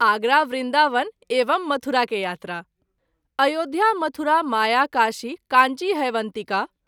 आगरा, वृन्दावन एवं मथुरा के यात्रा ——————————————- अयोध्या मथुरा माया काशी कांची ह्यवन्तिका।